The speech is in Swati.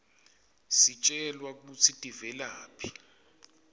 sitjelwa kutsi tivelaphi